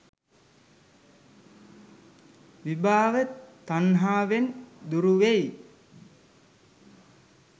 විභව තණ්හාවෙන් දුරුවෙයි.